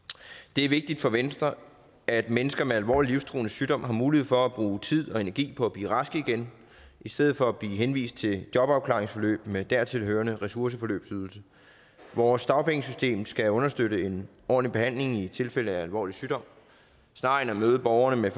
det er vigtigt for venstre at mennesker med alvorlig livstruende sygdom har mulighed for at bruge tid og energi på at blive raske igen i stedet for at blive henvist til jobafklaringsforløb med dertil hørende ressourceforløbsydelse vores dagpengesystem skal understøtte en ordentlig behandling i tilfælde af alvorlig sygdom snarere end at møde borgerne med